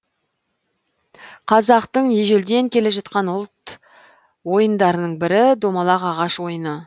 қазақтың ежелден келе жатқан ұлт ойындарының бірі домалақ ағаш ойыны